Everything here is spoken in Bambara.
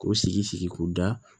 K'o sigi sigi k'o da